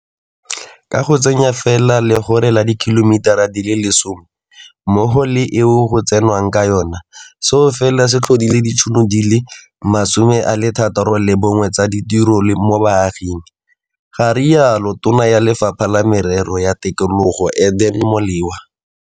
Ka go tsenya fela legore la dikhilomitara di le 10 mmogo le eke eo go tsenwang ka yona, seo fela se tlhodile ditšhono di le 61 tsa ditiro mo baaging, ga rialo Tona ya Lefapha la Merero ya Tikologo Edna Molewa